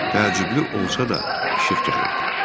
Təəccüblü olsa da işıq gəlirdi.